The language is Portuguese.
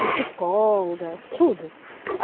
Psicóloga, tudo.